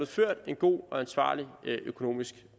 ført en god og ansvarlig økonomisk